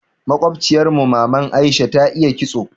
Makobciyar mu maman Aisha ta iya ƙitso.